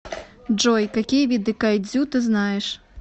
джой какие виды кайдзю ты знаешь